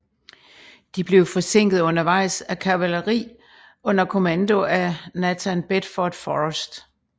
De blev forsinket undervejs af kavaleri under kommando af Nathan Bedford Forrest